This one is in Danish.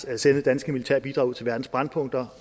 at sende danske militære bidrag ud til verdens brændpunkter